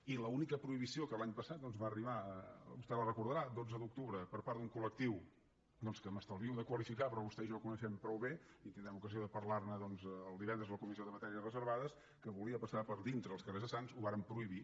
i l’única prohibició que l’any passat va arribar vostè la deu recordar dotze d’octubre per part d’un col·però vostè i jo el coneixem prou bé i tindrem ocasió de parlar ne el divendres a la comissió de matèries reservades que volia passar per dintre els carrers de sants ho vàrem prohibir